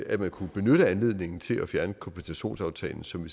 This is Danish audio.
at man kunne benytte anledningen til at fjerne kompensationsaftalen som